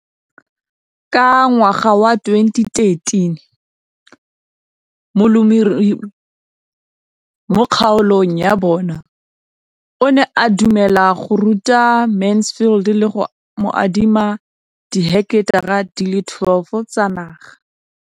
Ka ngwaga wa 2013, molemirui mo kgaolong ya bona o ne a dumela go ruta Mansfield le go mo adima di heketara di le 12 tsa naga.